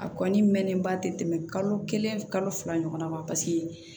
A kɔni mɛnnenba tɛ tɛmɛ kalo kelen kalo fila ɲɔgɔnna kan paseke